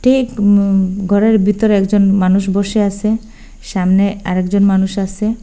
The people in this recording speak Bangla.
এই উম গরের বিতরে একজন মানুষ বসে আসে সামনে আরেকজন মানুষ আসে।